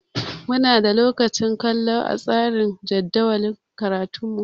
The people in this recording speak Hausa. Muna da lokacin kallo a tsarin jadawalin karatunmu